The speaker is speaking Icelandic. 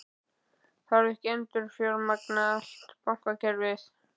Þarf ekki að endurfjármagna allt bankakerfið?